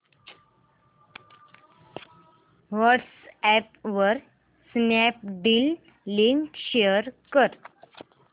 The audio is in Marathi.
व्हॉट्सअॅप वर स्नॅपडील लिंक शेअर कर